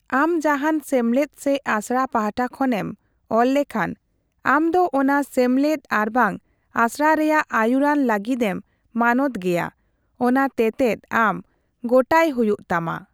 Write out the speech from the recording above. ᱟᱢ ᱡᱟᱦᱟᱸᱱ ᱥᱮᱢᱞᱮᱫ ᱥᱮ ᱟᱥᱲᱟ ᱯᱟᱦᱴᱟ ᱠᱷᱚᱱᱮᱢ ᱚᱞ ᱞᱮᱠᱷᱟᱱ, ᱟᱢ ᱫᱚ ᱚᱱᱟ ᱥᱮᱢᱞᱮᱫ ᱟᱨᱵᱟᱝ ᱟᱥᱲᱟ ᱨᱮᱭᱟᱜ ᱟᱹᱭᱩᱨᱟᱱ ᱞᱟᱹᱜᱤᱫᱮᱢ ᱢᱟᱱᱚᱛᱜᱮᱭᱟ ᱚᱱᱟ ᱛᱮᱛᱮᱫ ᱟᱢ ᱜᱚᱴᱟᱭ ᱦᱩᱭᱩᱜ ᱛᱟᱢᱟ ᱾